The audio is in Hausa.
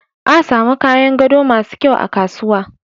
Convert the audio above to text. A samun kayan gado masu kyau a kasuwa.